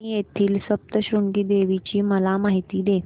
वणी येथील सप्तशृंगी देवी ची मला माहिती दे